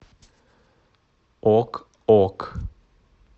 ок ок